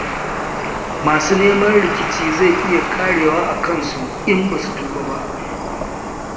Masu neman rikici, zai iya ƙarewa a kansu, in ba su tuba ba.